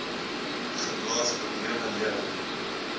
galblaas probleme lewer